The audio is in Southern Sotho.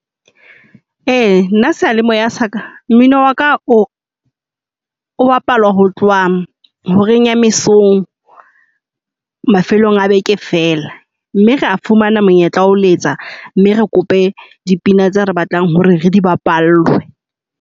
Ee nna sealemoya sa ka mmino wa ka o bapala ho tloha horeng ya mesong mafelong a beke fela. Mme ra fumana monyetla wa ho letsa mme re kope dipina tse re batlang hore re di bapallwe.